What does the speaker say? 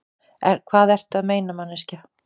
Hvað ertu að meina, manneskja?